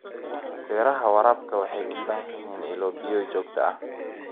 Beeraha waraabka waxay u baahan yihiin ilo biyood joogto ah.